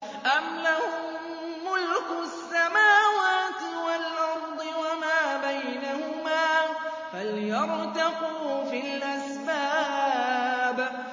أَمْ لَهُم مُّلْكُ السَّمَاوَاتِ وَالْأَرْضِ وَمَا بَيْنَهُمَا ۖ فَلْيَرْتَقُوا فِي الْأَسْبَابِ